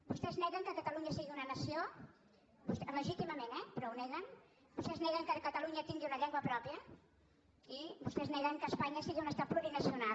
vostès neguen que catalunya sigui una nació legítimament eh però ho neguen vostès neguen que catalunya tingui una llengua pròpia i vostès neguen que espanya sigui un estat plurinacional